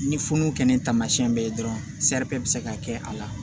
Ni funukɛnini tamasiyɛn bɛ ye dɔrɔn bɛ se ka kɛ a la